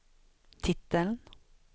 titeln